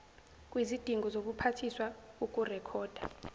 kwizidingo zobuphathiswa ukurekhoda